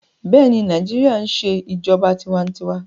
Bẹẹni, Naijiria n ṣe ijọba tiwantiwa